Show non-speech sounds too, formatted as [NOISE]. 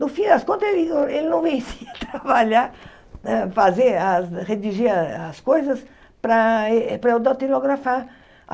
No fim das contas, ele não ele não vencia [LAUGHS] trabalhar, né fazer as, redigir as as coisas para eh para eu datilografar.